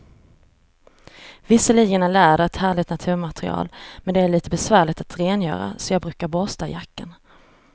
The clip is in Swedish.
Visserligen är läder ett härligt naturmaterial, men det är lite besvärligt att rengöra, så jag brukar borsta jackan.